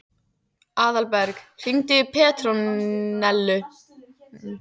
Aðalberg, hringdu í Petrónellu.